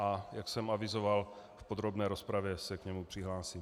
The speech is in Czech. A jak jsem avizoval, v podrobné rozpravě se k němu přihlásím.